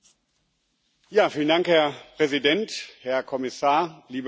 Herr Präsident, Herr Kommissar, liebe Kolleginnen und Kollegen!